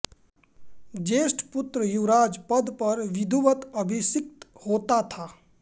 ज्येष्ठ पुत्र युवराज पद पर विधिवत अभिषिक्त होता था